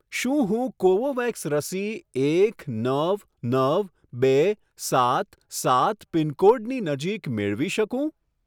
શું હું કોવોવેક્સ રસી એક નવ નવ બે સાત સાત પિનકોડની નજીક મેળવી શકું?